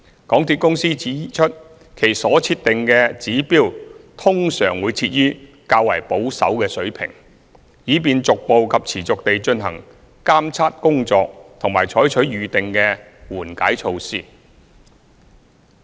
港鐵公司指出，其所設定的指標通常會設於較保守的水平，以便逐步及持續地進行監測工作及採取預定的緩解措施。